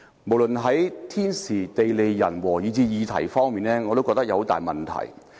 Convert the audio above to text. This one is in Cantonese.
無論是時間、人物，以至議題上，我也覺得有很大問題。